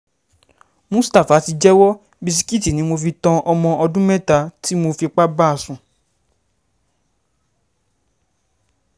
mustapha ti jẹ́wọ́ bisikíìtì ni mo fi tan ọmọ ọdún mẹ́ta tí mo fipá bá sùn